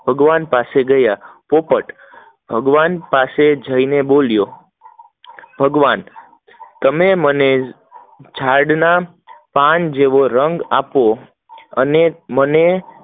ભગવાન પાસે ગયા પોપટ ભગવાન પાસે જય બોલ્યો, ભગવાન તમે મને તમે મને ઝાડ ના પાન જેવો રંગ આપો